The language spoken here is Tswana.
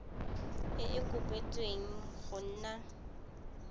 e e kopetswengcc go nna